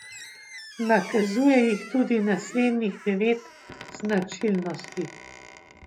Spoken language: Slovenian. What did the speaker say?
Nakazuje jih tudi naslednjih devet značilnosti.